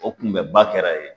O kunbɛba kɛra yen